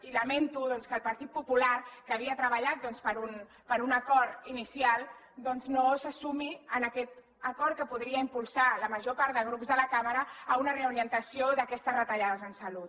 i lamento doncs que el partit popular que havia treballat per un acord inicial no se sumi a aquest acord que podria impulsar la major part de grups de la cambra a una reorientació d’aquestes retallades en salut